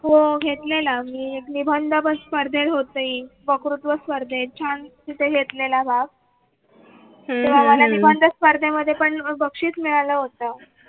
हो हो घेतलेला मी एक निबंध स्पर्धेत होते वक्तृत्व स्पर्धे छान तिथे घेतलेला भाग स्पर्धेमध्ये पण बक्षीस मिळाला होता.